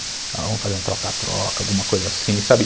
Vamos fazer um troca-troca, alguma coisa assim, sabe?